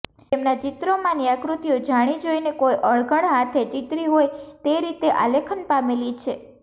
તેમનાં ચિત્રોમાંની આકૃતિઓ જાણી જોઈને કોઈ અણઘડ હાથે ચીતરી હોય તે રીતે આલેખન પામેલી છે